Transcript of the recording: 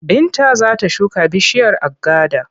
Binta za ta shuka bishiyar agada.